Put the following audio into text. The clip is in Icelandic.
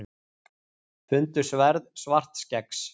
Fundu sverð Svartskeggs